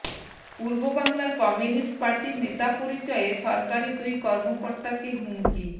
পূর্ব বাংলার কমিউনিস্ট পার্টির নেতা পরিচয়ে সরকারি দুই কর্মকর্তাকে হুমকি